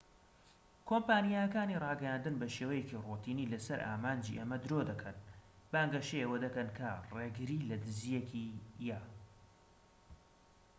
کۆمپانیاکانی ڕاگەیاندن بەشێوەیەکی ڕۆتینی لەسەر ئامانجی ئەمە درۆدەکەن، بانگەشەی ئەوە دەکەن کە ڕێگریلەدزیەکی"یە